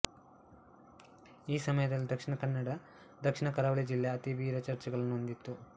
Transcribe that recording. ಈ ಸಮಯದಲ್ಲಿ ದಕ್ಷಿಣ ಕನ್ನಡ ದಕ್ಷಿಣ ಕರಾವಳಿ ಜಿಲ್ಲೆ ಅತಿ ವಿರ ಚರ್ಚ್ಗಳನ್ನು ಹೊಂದಿತ್ತು